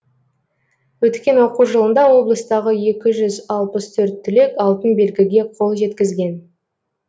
өткен оқу жылында облыстағы екі жүз алпыс төрт түлек алтын белгіге қол жеткізген